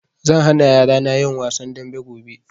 Zan hana yarana yin wasan dambe gobe